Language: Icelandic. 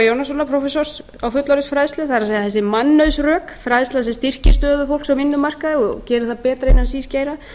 jónassonar prófessors á fullorðinsfræðslu það er þessi mannauðsrök fræðsla sem styrkir stöðu fólks á vinnumarkaði og gerir það betra innan síns geira